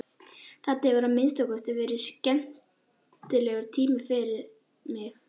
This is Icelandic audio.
Þetta hefur að minnsta kosti verið skemmtilegur tími fyrir mig.